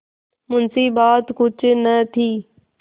मुंशीबात कुछ न थी